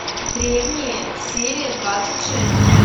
древние серия двадцать шесть